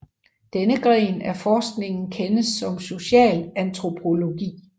Denne gren af forskningen kendes som socialantropologi